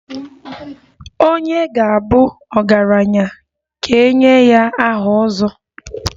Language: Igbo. Onye ga-abu ọgaranya ka e nye ya aha 'ozo'.